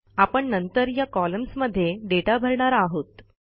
आपण नंतर या कॉलम्स मध्ये डेटा भरणार आहोत